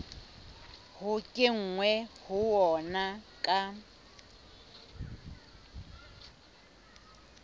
ho kenweng ho ona ka